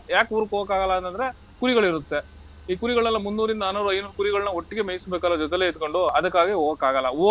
ಯಾಕ್ ಊರ್ಗ್ ಹೋಗಕ್ಕಾಗಲ್ಲ ಅಂತಂದ್ರೆ ಕುರಿಗಳಿರುತ್ತೆ. ಈ ಕುರಿಗಳನ್ನೆಲ್ಲಾ ಮುನ್ನೂರ್ರಿಂದ ನಾನ್ನೂರು, ಐನೂರ್ ಕುರಿಗಳನ್ನ ಒಟ್ಟಿಗೆ ಮೇಯಿಸ್ಬೇಕಲ್ಲಾ ಜೊತೆಲ್ಲೇ ಇದ್ಕೊಂಡು ಅದಕ್ಕಾಗೆ ಹೋಗಕ್ಕಾಗಲ್ಲ.